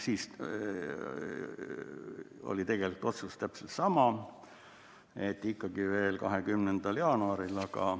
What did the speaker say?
Siis oli tegelikult otsus täpselt sama, et ikkagi 20. jaanuaril.